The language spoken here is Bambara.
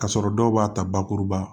K'a sɔrɔ dɔw b'a ta bakuruba